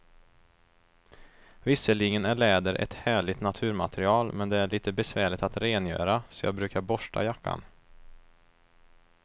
Visserligen är läder ett härligt naturmaterial, men det är lite besvärligt att rengöra, så jag brukar borsta jackan.